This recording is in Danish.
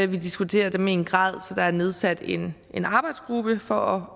vi diskuterer dem i en grad så der er nedsat en arbejdsgruppe for